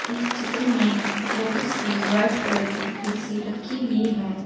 इस चित्र में बहुत सी व्हाइट कलर की कुर्सी रखी हुई है।